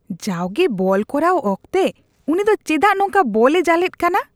ᱡᱟᱣᱜᱮ ᱵᱚᱞ ᱠᱚᱨᱟᱣ ᱚᱠᱛᱮ ᱩᱱᱤ ᱫᱚ ᱪᱮᱫᱟᱜ ᱱᱚᱝᱠᱟ ᱵᱚᱞᱼᱮ ᱡᱟᱞᱮᱫ ᱠᱟᱱᱟ ?